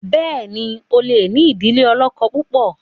béèni o lẹ ní idile olókó púpọ.